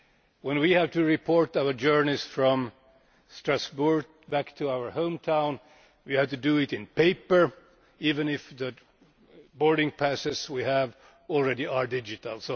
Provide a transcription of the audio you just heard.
When we have to report our journeys from Strasbourg back to our hometown we have to do it on paper, even if the boarding passes we have are already digital.